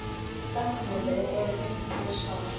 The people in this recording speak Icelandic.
Fögnuðu er fundu svar.